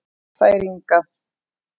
Þær Inga